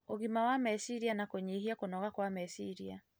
ũgima wa meciria na kũnyihia kũnoga kwa meciria.